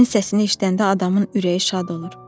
Sənin səsini eşidəndə adamın ürəyi şad olur.